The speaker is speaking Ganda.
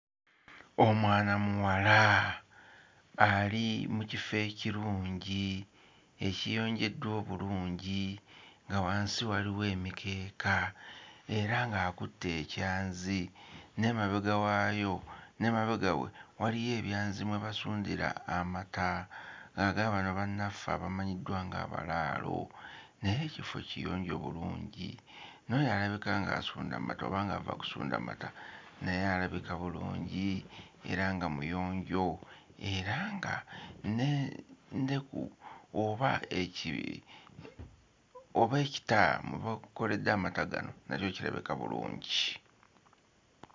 Omwana muwala ali mu kifo ekirungi ekiyonjeddwa obulungi nga wansi waliwo emikeeka era ng'akutte ekyanzi n'emabega waayo n'emabega we waliyo ebyanzi mwe basundira amata aga bano bannaffe abamanyiddwa nga abalaalo naye ekifo kiyonjo bulungi n'oyo alabika ng'asunda mata oba ng'ava kusunda mata naye alabika bulungi era nga muyonjo era nga n'endeku oba eki oba ekita mwe bakoledde amata gano nakyo kirabika bulungi.